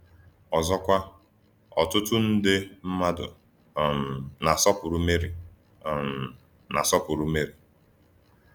Ọzọkwa, ọtụtụ nde mmadụ um na-asọpụrụ Meri. um na-asọpụrụ Meri.